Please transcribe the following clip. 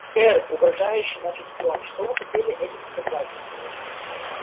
сэр угрожающе начал стюарт что вы хотели этим сказать